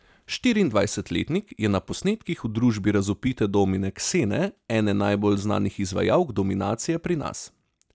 Štiriindvajsetletnik je na posnetkih v družbi razvpite domine Ksene, ene najbolj znanih izvajalk dominacije pri nas.